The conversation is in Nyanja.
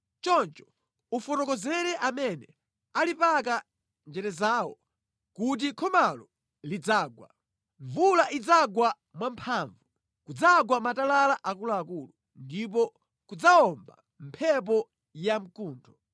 choncho ufotokozere amene alipaka njerezawo kuti khomalo lidzagwa. Mvula idzagwa mwamphamvu, kudzagwa matalala akuluakulu, ndipo kudzawomba mphepo yamkuntho.